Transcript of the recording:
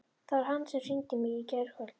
Það var hann sem hringdi í mig í kvöld.